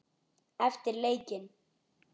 Eftir leikinn?